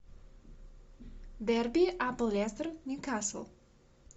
дерби апл лестер ньюкасл